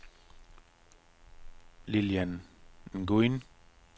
Lilian Nguyen